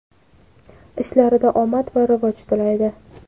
ishlarida omad va rivoj tilaydi!.